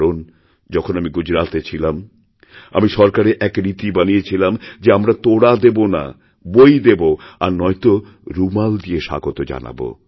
কারণ যখন আমি গুজরাতে ছিলাম আমি সরকারে এক রীতি বানিয়েছিলাম যে আমরা তোড়া দেব নাবই দেব আর নয়ত রুমাল দিয়ে স্বাগত জানাব